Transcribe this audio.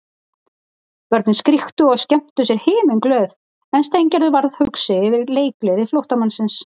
Börnin skríktu og skemmtu sér himinglöð en Steingerður varð hugsi yfir leikgleði flóttamannsins.